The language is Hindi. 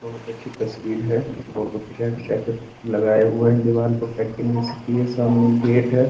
बहुत अच्छी तस्वीर है फोटो खींचा-खींचा के लगाए हुए हैं दिवार पे पेंटिंग भी सटी है सामने गेट है।